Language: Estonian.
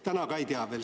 Täna ka ei tea.